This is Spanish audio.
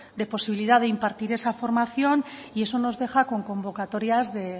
de posibilidad de impartir esa formación y eso nos deja con convocatorias de